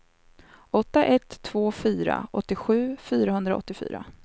åtta ett två fyra åttiosju fyrahundraåttiofyra